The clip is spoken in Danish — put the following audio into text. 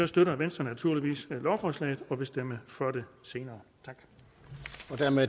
støtter venstre naturligvis lovforslaget og vil stemme for det senere